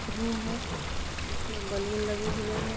Room है जिसमें balloon लगे हुए हैं।